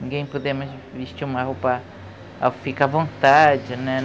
Ninguém pode vestir uma roupa ao ficar à vontade, né?